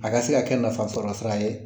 A ka se ka kɛ nafa sɔrɔ sira ye